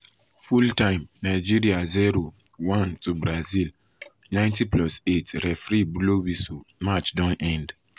full time nigeria 0-1 brazil 90+8 referee blow whistle match don end.